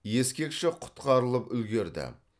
ескекші құтқарылып үлгерді